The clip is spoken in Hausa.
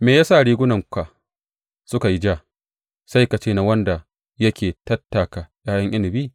Me ya sa rigunanka suka yi ja, sai ka ce na wanda yake tattaka ’ya’yan inabi?